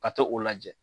Ka to o lajɛ